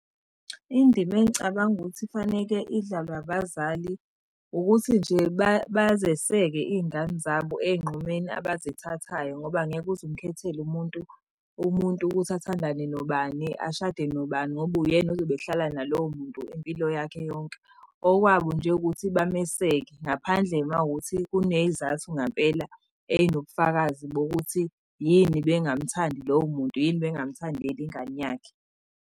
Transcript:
Indima engicabanga ukuthi kufaneke idlalwe abazali ukuthi nje bazeseke iy'ngane zabo ey'nqumeni abazithathayo, ngoba angeke uze umukhethele umuntu, umuntu ukuthi athandane nobani, ashade nobani, ngoba uyena ozobe ehlala nalowo muntu impilo yakhe yonke. Okwabo nje ukuthi bameseke, ngaphandle uma wukuthi kuney'zathu ngampela ey'nobufakazi bokuthi yini bengamuthandi lowo muntu yini, bengamuthandeli ingane yakhe.